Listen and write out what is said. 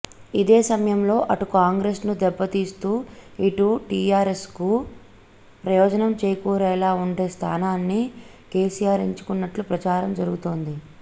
ఇదే సమయంలో అటు కాంగ్రెస్ను దెబ్బతీస్తూ ఇటు టీఆర్ఎస్కు ప్రయోజనం చేకూరేలా ఉండే స్ధానాన్ని కేసీఆర్ ఎంచుకున్నట్టు ప్రచారం జరుగుతోంది